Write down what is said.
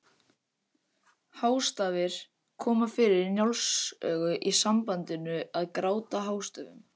Hástafir koma fyrir í Njáls sögu í sambandinu að gráta hástöfum.